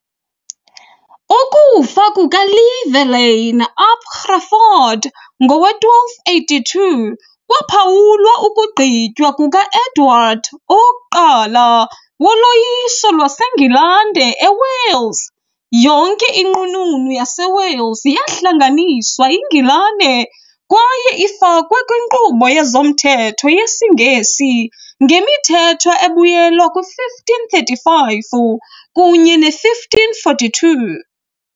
Ukufa kukaLlywelyn ap Gruffudd ngowe-1282 kwaphawula ukugqitywa kuka -Edward I woloyiso lwaseNgilani eWales . Yonke iNqununu yaseWales yahlanganiswa yiNgilani kwaye ifakwe kwinkqubo yezomthetho yesiNgesi ngemithetho ebuyela kwi-1535 kunye ne-1542 .